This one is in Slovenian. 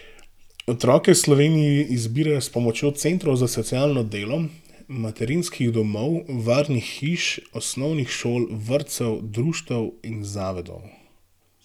Otroke v Sloveniji izbirajo s pomočjo centrov za socialno delo, materinskih domov, varnih hiš, osnovnih šol, vrtcev, društev in zavodov.